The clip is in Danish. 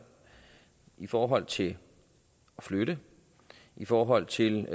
i forhold til at flytte i forhold til